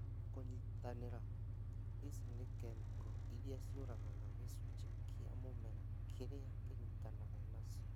Kũnyitanĩra. Ici nĩ kĩmĩko iria ciũragaga gĩcunjĩ kĩa mũmera kĩrĩa kĩnyitanaga nacio